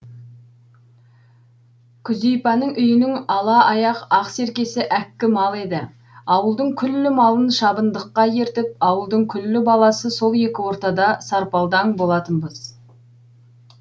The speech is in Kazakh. күзипаның үйінің ала аяқ ақ серкесі әккі мал еді ауылдың күллі малын шабындыққа ертіп ауылдың күллі баласы сол екі ортада сарпалдаң болатынбыз